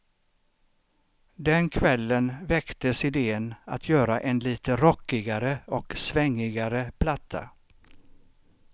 Den kvällen väcktes idén att göra en lite rockigare och svängigare platta.